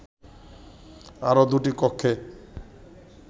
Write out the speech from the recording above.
আরো দুটি কক্ষে